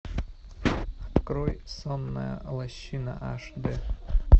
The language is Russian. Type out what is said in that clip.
открой сонная лощина аш д